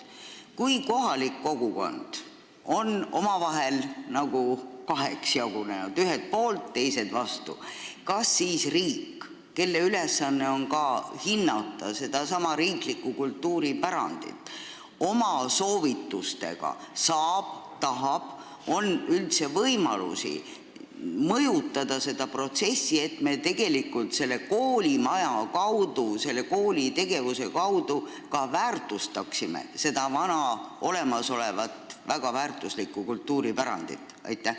Kui kohalik kogukond on nagu kaheks jagunenud, ühed on poolt ja teised vastu, kas siis riik, kelle ülesanne on ka hinnata sedasama riiklikku kultuuripärandit, oma soovitustega saab ja tahab ja kas tal on üldse võimalusi mõjutada seda protsessi, et me tegelikult selle koolimaja kaudu, selle kooli tegevuse kaudu väärtustaksime olemasolevat ja väga väärtuslikku kultuuripärandit?